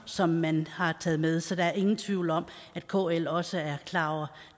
som man har taget med så der er ingen tvivl om at kl også er klar over